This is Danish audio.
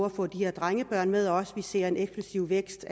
at få de her drengebørn med også vi ser en eksplosiv vækst